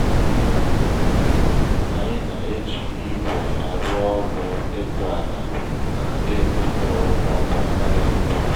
anyị na-eji igwe arụ ọrụ ịkụ ala na ịkụ mkpụrụ ngwa ngwa karịa mbụ.